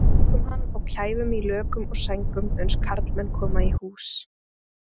Tökum hann og kæfum í lökum og sængum uns karlmenn koma í hús.